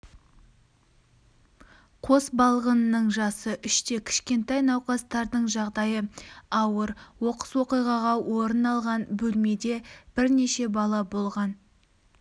қос балғынның жасы үште кішкентай науқастардың жағдайы ауыр оқыс оқиға орын алған бөлмеде бірнеше бала болған